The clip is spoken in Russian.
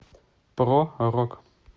про рок